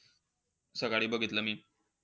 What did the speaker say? सकाळी बघितलं मी.